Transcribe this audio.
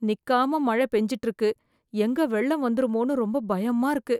நிக்காம மழை பெய்திட்டு இருக்கு எங்க வெள்ளம் வந்துருமோன்னு ரொம்ப பயமா இருக்கு